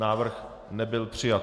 Návrh nebyl přijat.